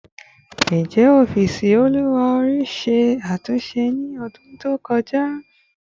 Njẹ ọfiisi oluwa ori ṣe atunṣe ni ọdun to kọja?